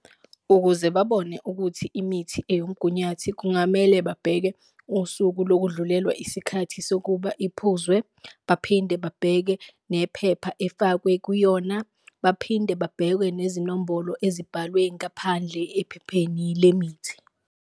Ukuze babone ukuthi imithi eyomgunyathi kungamele babheke usuku lokudlulelwa isikhathi sokuba iphuzwe, baphinde babheke nephepha efakwe kuyona, baphinde babheke nezinombolo ezibhalwe ngaphandle ephepheni lemithi.